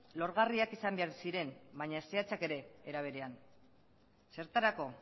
lorgarriak izan behar ziren baina zehatzak ere era beren zertarako